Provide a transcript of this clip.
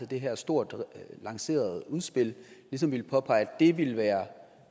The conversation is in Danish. det her stort lancerede udspil ligesom påpeger at det ville være